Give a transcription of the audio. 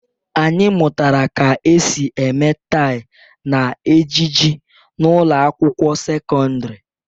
Anyị mụtara ka esi eme tye na ejiji n'ụlọ akwụkwọ sekọndrị